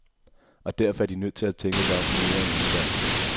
Og derfor er de nødt til at tænke sig om mere end en gang.